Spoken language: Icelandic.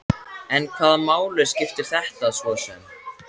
En hvaða máli skipti þetta svo sem?